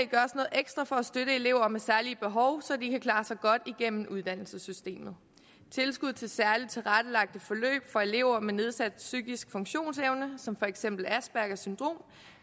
ekstra for at støtte elever med særlige behov så de kan klare sig godt igennem uddannelsessystemet tilskud til særlig tilrettelagte forløb for elever med nedsat psykisk funktionsevne som for eksempel aspergers syndrom